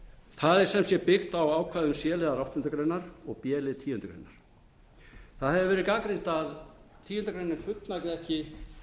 það er sem sé byggt á ákvæðum c liðar áttundu greinar og b lið tíundu greinar það hefur verið gagnrýnt að tíundu greinar fullnægi ekki